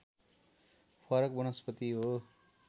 फरक वनस्पति हो